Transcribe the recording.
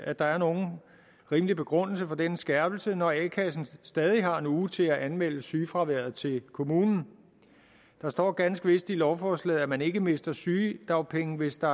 at der er nogen rimelig begrundelse for denne skærpelse når a kassen stadig har en uge til at anmelde sygefraværet til kommunen der står ganske vist i lovforslaget at man ikke mister sygedagpenge hvis der